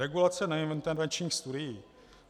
Regulace neintervenčních studií.